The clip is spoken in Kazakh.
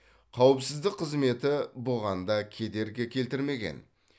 қауіпсіздік қызметі бұған да кедергі келтірмеген